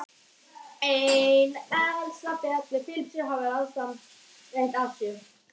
Ein helgisaga telur Filippus hafa starfað og liðið píslarvætti í Litlu-Asíu.